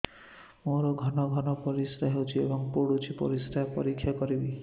ମୋର ଘନ ଘନ ପରିସ୍ରା ହେଉଛି ଏବଂ ପଡ଼ୁଛି ପରିସ୍ରା ପରୀକ୍ଷା କରିବିକି